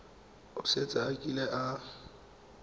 o setse a kile a